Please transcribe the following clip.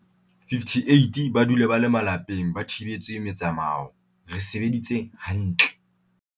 58 ba dule ba le malapeng ba thibetswe metsamao, re sebeditse ha ntle.